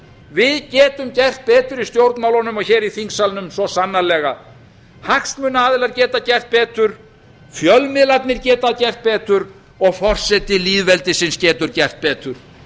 við getum gert betur í stjórnmálunum og hér í þingsalnum svo sannarlega hagsmunaaðilar geta gert betur fjölmiðlarnir geta gert betur og forseti lýðveldisins getur gert betur